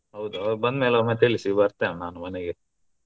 ಹೌದಾ ಅವ್ರು ಬಂದ್ಮೇಲೆ ಒಮ್ಮೆ ತಿಳಿಸಿ ಬರ್ತೇನೆ ನಾನು ಮನೆಗೆ.